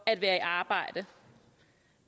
at være i arbejde